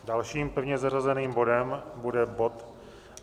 Dalším pevně zařazeným bodem bude bod